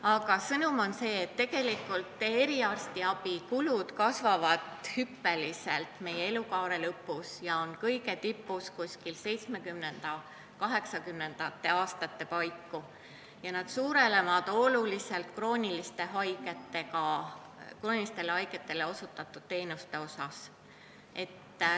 Aga põhisõnum on see, et eriarstiabi kulud kasvavad hüppeliselt meie elukaare lõpus, kõige tipus on need 70–80-ndate eluaastate paiku, ja suurenevad eriti kroonilistele haigetele osutatud teenuste tõttu.